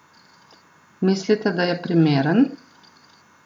Mislite, da je primeren?